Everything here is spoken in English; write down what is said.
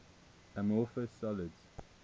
amorphous solids